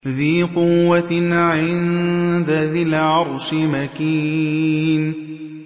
ذِي قُوَّةٍ عِندَ ذِي الْعَرْشِ مَكِينٍ